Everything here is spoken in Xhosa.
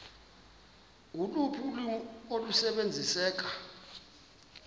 loluphi ulwimi olusebenziseka